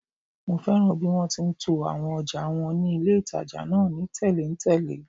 Mo fẹ́ràn bí wọ́n ti to àwọn ọjà wọn ní ilé-ìtàjà náà ni tẹ̀léǹtẹ̀lé